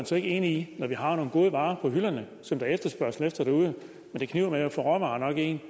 så ikke enig i at når vi har nogle gode varer på hylderne som der er efterspørgsel efter derude men det kniber med at få råvarer nok ind